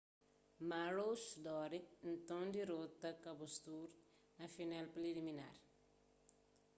maroochydore nton dirota caboolture na final preliminar